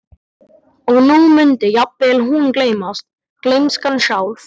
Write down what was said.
Og nú mundi jafnvel hún gleymast, gleymskan sjálf.